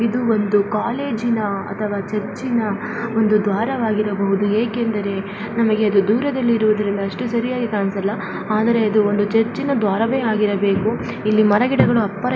ಇದು ಒಂದು ಕಾಲೇಜ ಇನ ಅಥವಾ ಚರ್ಚಿ ಇನ ಒಂದು ದ್ವಾರವಾಗಿರಬಹುದು ಏಕೆಂದರೆ ನಮಗೆ ಇದು ದೂರದಲ್ಲಿ ಇರುವುದರಿಂದ ಅಷ್ಟು ಸರಿಯಾಗಿ ಕಾಣಿಸಲ್ಲ ಆದರೇ ಇದು ಒಂದು ಇನ ದ್ವಾರವೇ ಆಗಿರಬೇಕು. ಇಲ್ಲಿ ಮರಗಿಡಗಳು ಅಬ್ಬರ --